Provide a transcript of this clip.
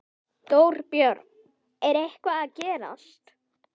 Þorbjörn: Er eitthvað að gerast?